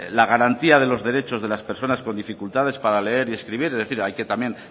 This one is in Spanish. la garantía de los derechos de la personas con dificultades para leer y escribir es decir hay que también